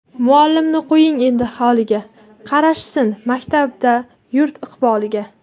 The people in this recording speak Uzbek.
Muallimni qo‘ying endi holiga, Qarashsin maktabda yurt iqboliga...